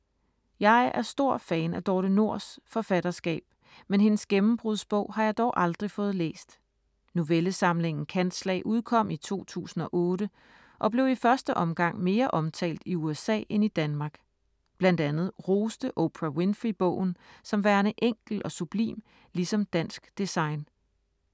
Jeg er stor fan af Dorthe Nors’ forfatterskab, men hendes gennembrudsbog har jeg dog aldrig fået læst. Novellesamlingen Kantslag udkom i 2008 og blev i første omgang mere omtalt i USA end i Danmark. Blandt andet roste Oprah Winfrey bogen som værende enkel og sublim, ligesom dansk design.